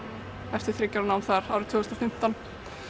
eftir þriggja ára nám þar árið tvö þúsund og fimmtán